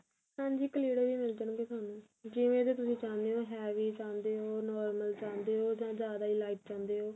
ਹਾਂਜੀ ਕਲਿੜੇ ਵੀ ਮਿਲ ਜਾਣ ਗੇ ਤੁਹਾਨੂੰ ਜਿਵੇਂ ਦੇ ਤੁਸੀਂ ਚਾਹਉਣੇ ਓ heavy ਚਾਹੰਦੇ ਓ normal ਚਾਹੰਦੇ ਓ ਜਾਂ ਜਿਆਦਾ ਈ lite ਚਾਹੰਦੇ ਓ